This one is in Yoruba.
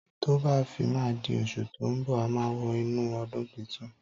Tọ bà fi mà dí òsú tọ mbọ àmá wò nú ọdún títùn.